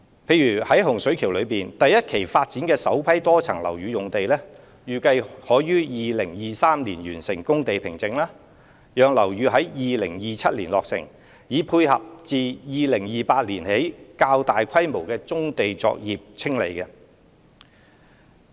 例如在洪水橋的第一期發展中，首批多層樓宇用地預計可於2023年完成工地平整，讓樓宇在2027年落成，以配合自2028年起的較大規模棕地作業清理。